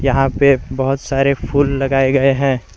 यहां पे बहुत सारे फूल लगाए गए हैं।